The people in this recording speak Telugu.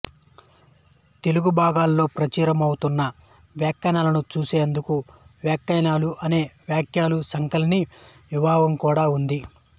తెలుగు బ్లాగులలో ప్రచురితమవుతున్న వ్యాఖ్యలను చూసేందుకు వ్యాఖ్యలు అనే వ్యాఖ్యల సంకలిని విభాగం కూడా ఉంది